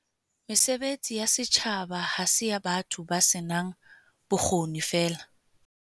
Mesebetsi ya setjhaba ha se ya batho ba senang bokgoni feela.